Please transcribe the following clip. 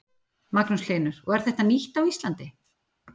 Magnús Hlynur: Og er þetta nýtt á Íslandi?